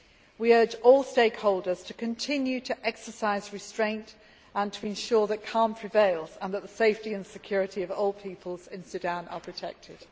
We urge all stakeholders to continue to exercise restraint and to ensure that calm prevails and that the safety and security of all peoples in Sudan are protected.